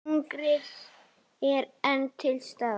Hungrið er enn til staðar.